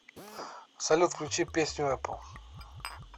салют включи песню эппл три